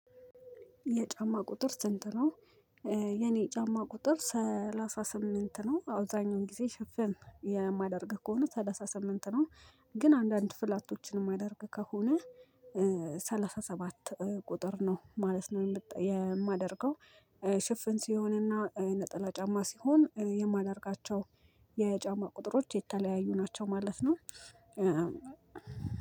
የጫማ ቁጥር ስንት ነው? የኔ ጫማ ቁጥር ሰላሳ ስምንት ነው አውዛኛውን ጊዜ ሽፍን የማደርግ ከሆነ ሰላሳ ስምንት ነው። ግን አንዳንድ ፍላቶችን የማደርግ ከሆነ ሰባት ቁጥር ነው ማለት ነው የማደርገው። ሽፍን ሲሆንና ነጠላ ጫማ ሲሆን የማደርጋቸው የጫማ ቁጥሮች የተለያዩ ናቸው ማለት ነው።